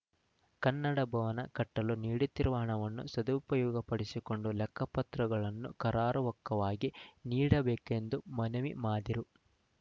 ಕನ್ನಡ ಭವನ ಕಟ್ಟಲು ನೀಡುತ್ತಿರುವ ಹಣವನ್ನು ಸದುಪಯೋಗಪಡಿಸಿಕೊಂಡು ಲೆಕ್ಕಪತ್ರಗಳನ್ನು ಕರಾರುವಕ್ಕಾಗಿ ನೀಡಬೇಕು ಎಂದು ಮನವಿ ಮಾದಿರು